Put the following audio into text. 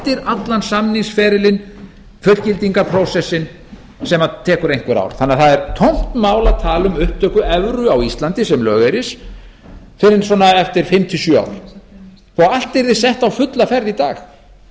að minnsta kosti tvö ár í viðbót eftir allan samningsferilinn fullgildingarprósessinn sem tekur einhver ár þannig að það er tómt mál að tala um upptöku evru á íslandi sem lögeyris fyrr en eftir fimm til sjö ár og allt yrði sett á fulla ferð í dag það